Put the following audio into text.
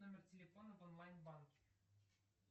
номер телефона в онлайн банке